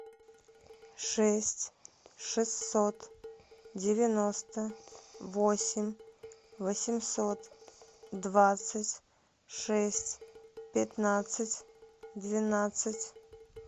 шесть шестьсот девяносто восемь восемьсот двадцать шесть пятнадцать двенадцать